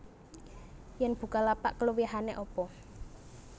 Yen Bukalapak keluwihane apa